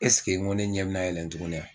Ɛseke n ko ne ɲɛ me na yɛlɛn tuguni wa ?